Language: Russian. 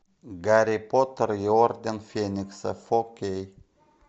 гарри поттер и орден феникса фо кей